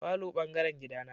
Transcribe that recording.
Falo bangaren gida na.